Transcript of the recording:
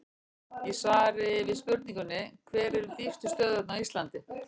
Í svari við spurningunni Hver eru dýpstu stöðuvötn á Íslandi?